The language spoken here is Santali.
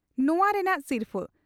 ᱱᱚᱣᱟ ᱨᱮᱱᱟᱜ ᱥᱤᱨᱯᱷᱟᱹ ᱾